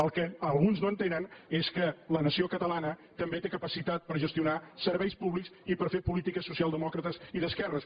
el que alguns no entenen és que la nació catalana també té capacitat per gestionar serveis públics i per fer polítiques socialdemòcrates i d’esquerres